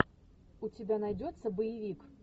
у тебя найдется боевик